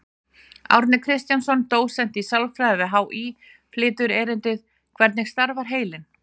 Árni Kristjánsson, dósent í sálfræði við HÍ, flytur erindið: Hvernig starfar heilinn?